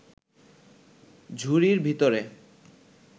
ঝুড়ির ভিতরে